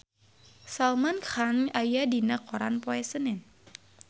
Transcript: Salman Khan aya dina koran poe Senen